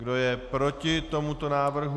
Kdo je proti tomuto návrhu?